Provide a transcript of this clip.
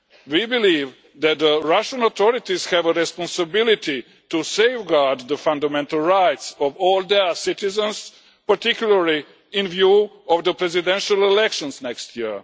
We believe that the Russian authorities have a responsibility to safeguard the fundamental rights of all their citizens, particularly in view of the presidential elections next year.